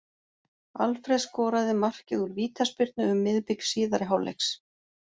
Alfreð skoraði markið úr vítaspyrnu um miðbik síðari hálfleiks.